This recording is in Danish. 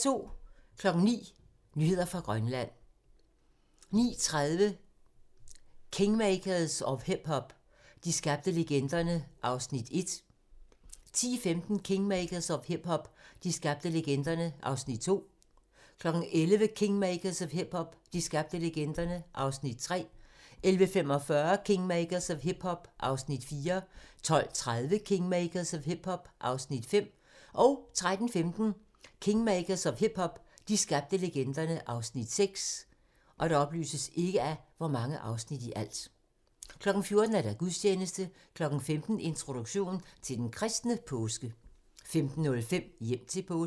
09:00: Nyheder fra Grønland 09:30: Kingmakers of hip-hop – de skabte legenderne (Afs. 1) 10:15: Kingmakers of hip-hop – de skabte legenderne (Afs. 2) 11:00: Kingmakers of hip-hop – de skabte legenderne (Afs. 3) 11:45: Kingmakers of hip-hop – de skabte legenderne (Afs. 4) 12:30: Kingmakers of hip-hop – de skabte legenderne (Afs. 5) 13:15: Kingmakers of hip-hop – de skabte legenderne (Afs. 6) 14:00: Gudstjeneste 15:00: Introduktion til den kristne påske 15:05: Hjem til påske